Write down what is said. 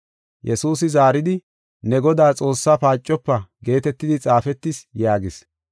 Yesuusi zaaridi, “Ne Godaa Xoossaa paacofa geetetidi xaafetis” yaagis.